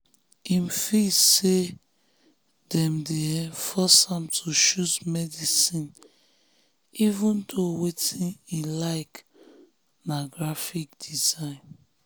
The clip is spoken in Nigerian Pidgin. him feel say dem dey um force am to choose medicine even though wetin um e like na graphic um design.